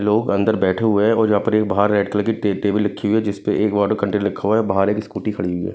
लोग अंदर बैठे हुए हैं और यहाँ पर एक बाहर रेड कलर की टेबल रखी हुई है जिस पे एक वाटर कंटेनर रखा हुआ है बाहर एक स्कूटी खड़ी हुई है।